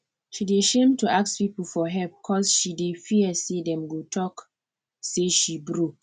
she dey shame to ask people for help cos she dey fear say dem go talk say she broke